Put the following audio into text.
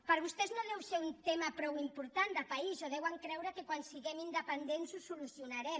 per a vostès no deu ser un tema prou important de país o deuen creure que quan siguem independents ho solucionarem